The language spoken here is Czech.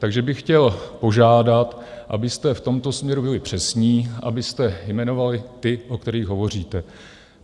Takže bych chtěl požádat, abyste v tomto směru byli přesní, abyste jmenovali ty, o kterých hovoříte.